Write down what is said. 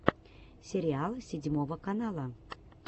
сериал седьмого канала